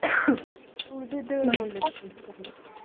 ಉಳ್ದಿದ್ದ್ .